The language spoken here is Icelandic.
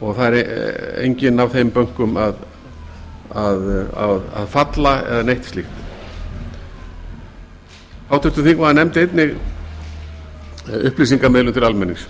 og það er enginn af þeim bönkum að falla eða neitt slíkt háttvirtur þingmaður nefndi einnig upplýsingamiðlun til almennings